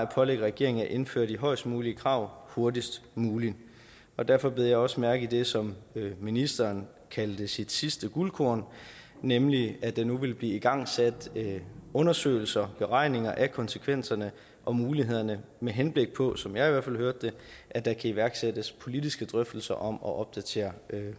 pålægge regeringen at indføre de højest mulige krav hurtigst muligt derfor bed jeg også mærke i det som ministeren kaldte sit sidste guldkorn nemlig at der nu vil blive igangsat undersøgelser og beregninger af konsekvenserne og mulighederne med henblik på som jeg i hvert fald hørte det at der kan iværksættes politiske drøftelser om at opdatere